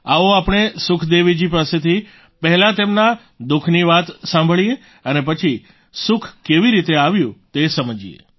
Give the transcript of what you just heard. આવો આપણે સુખદેવીજી પાસેથી પહેલા તેમના દુઃખ ની વાત સાંભળીએ અને પછી સુખ કેવી રીતે આવ્યું તે સમજીએ